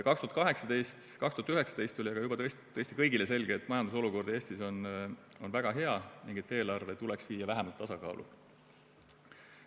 2019 aga oli juba tõesti kõigile selge, et majanduse olukord Eestis on väga hea ning eelarve tuleks viia vähemalt tasakaalu.